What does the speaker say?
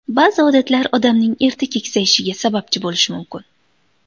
Ba’zi odatlar odamning erta keksayishiga sababchi bo‘lishi mumkin.